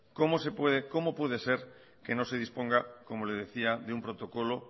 cómo se puede cómo puede ser que no se disponga como le decía de un protocolo